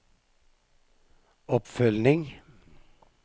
oppfølging